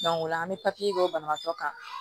o la an bɛ kɛ banabaatɔ kan